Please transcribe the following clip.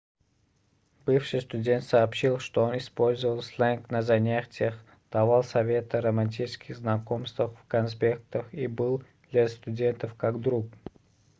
бывший студент сообщил что он использовал сленг на занятиях давал советы о романтических знакомствах в конспектах и был для студентов как друг